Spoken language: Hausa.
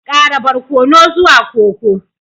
Ƙara barkono zuwa koko